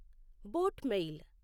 boat mail